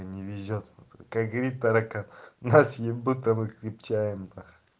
не везёт как говорит таракан нас ебут а мы крепчаем